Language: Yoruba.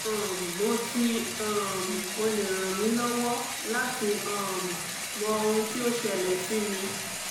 um mo ti um o le ran mi lọwọ lati um mọ ohun ti o ṣẹlẹ si mi